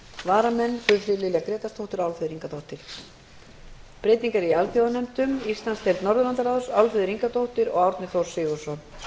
varamenn eru guðfríður lilja grétarsdóttir og álfheiður ingadóttir frá þingflokki vinstri hreyfingarinnar græns framboðs breytingar á alþjóðanefndum íslandsdeild norðurlandaráðs álfheiður ingadóttir og árni þór sigurðsson